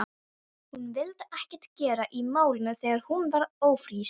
Hún vildi ekkert gera í málinu þegar hún varð ófrísk.